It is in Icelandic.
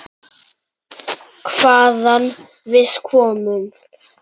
Hvaðan við komum.